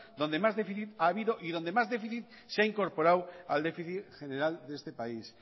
donde más déficit ha habido y donde más déficit se ha incorporado al déficit general de este país